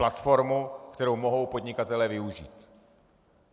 Platformu, kterou mohou podnikatelé využít.